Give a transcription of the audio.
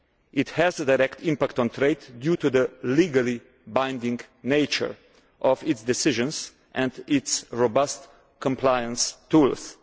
It has a direct impact on trade, due to the legally binding nature of its decisions and its robust compliance tools.